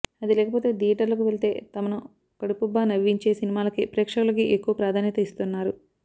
అది లేకపోతె థియేటర్లకు వెళితే తమను కడుపుబ్బా నవ్వించే సినిమాలకే ప్రేక్షకులకి ఎక్కువ ప్రాధాన్యత ఇస్తున్నారు